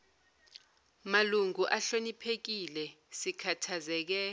malungu ahloniphekile sikhathazeke